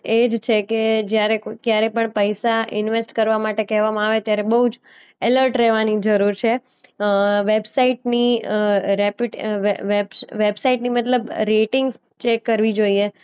એજ છે કે જ્યારે કોઈ ક્યારે પણ પૈસા ઈન્વેસ્ટ કરવા માટે કહેવામાં આવે ત્યારે બોઉ જ એલર્ટ રહેવાની જરૂર છે. અ વેબસાઈટની અ રેપ્યુટે અ વે વેબ વેબસાઈટની મતલબ રેટિંગ્સ ચેક કરવી જોઈએ.